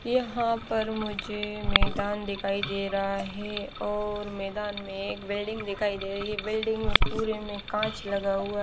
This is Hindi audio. यहाँ पर मुझे मैदान दिखाई दे रहा है और मैदान में एक बिल्डिंग दिखाई दे रही है में पुरे में काच लगा हुआ--